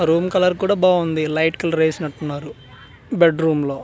Room colour కూడా బావుంది light colour వేసినట్టున్నారు బెడ్ రూమ్లో .